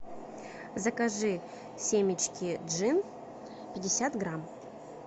закажи семечки джинн пятьдесят грамм